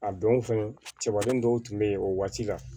A don fɛnɛ cɛbalen dɔw tun be yen o waati la